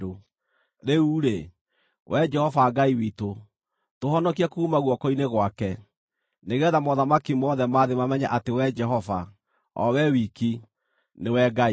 Rĩu-rĩ, Wee Jehova Ngai witũ, tũhonokie kuuma guoko-inĩ gwake, nĩgeetha mothamaki mothe ma thĩ mamenye atĩ Wee Jehova, o Wee wiki, nĩwe Ngai.”